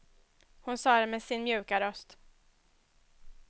Hon sa det med sin mjuka röst.